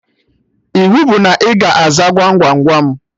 Iwu bụ na ị ga-aza Gwam Gwam Gwam